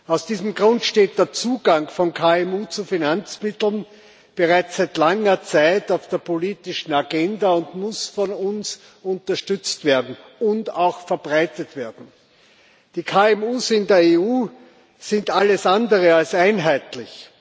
Aus diesem Grund steht der Zugang von KMU zu Finanzmitteln bereits seit langer Zeit auf der politischen Agenda und muss von uns unterstützt und auch verbreitet werden. Die KMU in der EU sind alles andere als einheitlich.